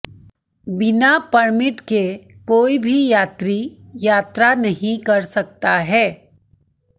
बिना परमिट के कोई भी यात्री यात्रा नहीं कर सकता है